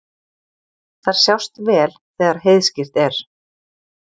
Þær sjást vel þegar heiðskírt er.